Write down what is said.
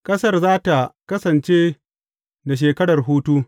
Ƙasar za tă kasance da shekarar hutu.